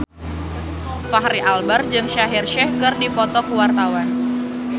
Fachri Albar jeung Shaheer Sheikh keur dipoto ku wartawan